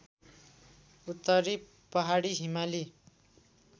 उत्तरी पहाडी हिमाली